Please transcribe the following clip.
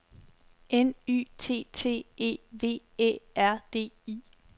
N Y T T E V Æ R D I